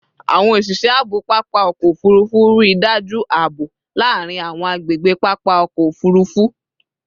Awọn oṣiṣẹ aabo papa ọkọ ofurufu rii daju aabo laarin awọn agbegbe papa ọkọ ofurufu